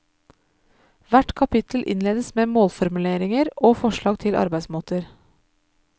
Hvert kapittel innledes med målformuleringer og forslag til arbeidsmåter.